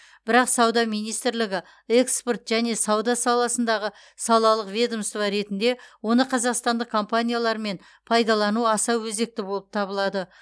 бірақ сауда министрлігі экспорт және сауда саласындағы салалық ведомство ретінде оны қазақстандық компаниялармен пайдалану аса өзекті болып табылады